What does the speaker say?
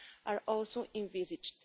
are also envisaged.